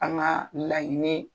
An ŋaa laɲini ye